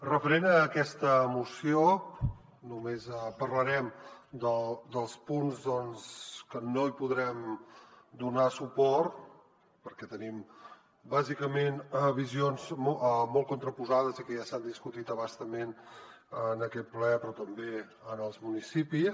referent a aquesta moció només parlarem dels punts doncs que no hi podrem donar suport perquè tenim bàsicament visions molt contraposades i que ja s’han discutit a bastament en aquest ple però també en els municipis